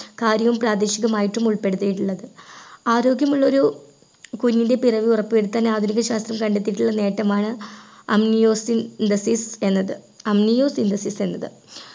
കാര്യവും പ്രാദേശികമായിട്ട് ഉൾപ്പെടുത്തിയിട്ടുള്ളത് ആരോഗ്യമുള്ളൊരു കുഞ്ഞിൻ്റെ പിറവി ഉറപ്പു വരുത്താൻ ആധുനിക ശാസ്ത്രം കണ്ടെത്തിയിട്ടുള്ള നേട്ടമാണ് Amniocentesis എന്നത് Amniocentesis എന്നത്